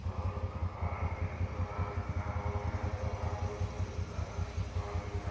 और कपाड़ पे दौरा रखा हुआ है दौरा में बहुत सारा सामान है।